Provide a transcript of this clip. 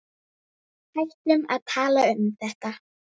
Hættum að tala um þetta.